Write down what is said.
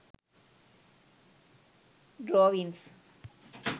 drawings